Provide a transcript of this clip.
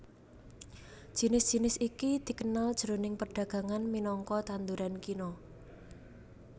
Jinis jinis iki dikenal jroning perdagangan minangka tanduran kina